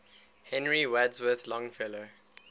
henry wadsworth longfellow